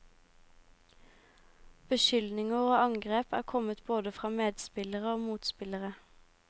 Beskyldninger og angrep er kommet både fra medspillere og motspillere.